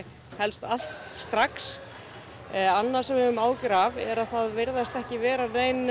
helst allt strax annað sem við höfum áhyggjur af er að það virðast ekki vera